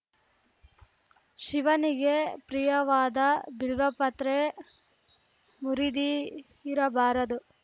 ಶಿವನಿಗೆ ಪ್ರಿಯವಾದ ಬಿಲ್ವಪತ್ರೆ ಮುರಿದಿ ಇರಬಾರದು